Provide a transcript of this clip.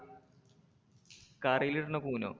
കറിയിലിടുന്ന Kuno